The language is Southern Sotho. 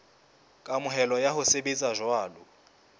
kamohelo ya ho sebetsa jwalo